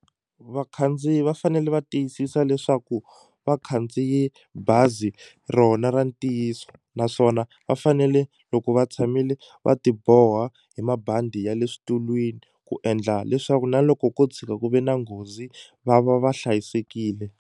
Vakhandziyi va fanele va tiyisisa leswaku va khandziye bazi rona ra ntiyiso naswona va fanele loko va tshamile va ti boha hi mabandi ya le xitulwini ku endla leswaku na loko ko tshuka ku ve na nghozi va va va hlayisekile.